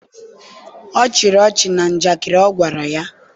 ọchị ọchị na njakịrị ọ gwara ya.